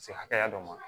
Se hakɛya dɔ ma